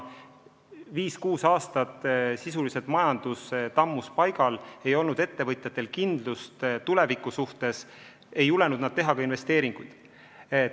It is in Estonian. Viis-kuus aastat sisuliselt majandus tammus paigal, ettevõtjatel ei olnud kindlust tuleviku ees ja nad ei julgenud investeeringuid teha.